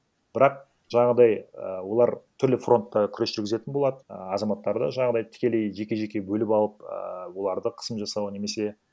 бірақ жаңағыдай і олар түрлі фронтта күрес жүргізетін болады а азаматтарды жаңағыдай тікелей жеке жеке бөліп алып ііі оларды қысым жасау немесе